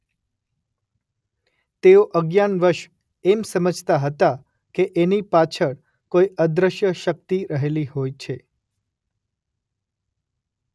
તેઓ અજ્ઞાનવશ એમ સમજતા હતા કે એની પાછળ કોઈ અદૃશ્ય શક્તિ રહેતી હોય છે.